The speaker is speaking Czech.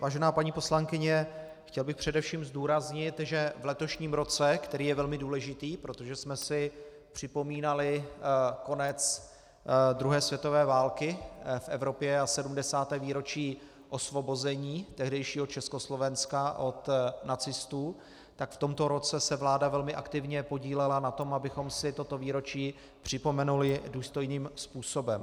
Vážená paní poslankyně, chtěl bych především zdůraznit, že v letošním roce, který je velmi důležitý, protože jsme si připomínali konec druhé světové války v Evropě a 70. výročí osvobození tehdejšího Československa od nacistů, tak v tomto roce se vláda velmi aktivně podílela na tom, abychom si toto výročí připomenuli důstojným způsobem.